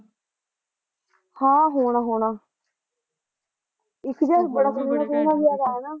ਹਾਂ ਹੋਣਾ ਹੋਣਾ ਇੱਕ ਯਾਰ ਬੜਾ ਸੋਹਣਾ ਜਿਹਾ ਗਾ ਨਾ